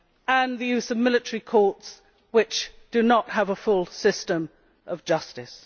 and the use of military courts which do not have a full system of justice.